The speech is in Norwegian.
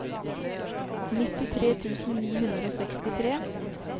nittitre tusen ni hundre og sekstitre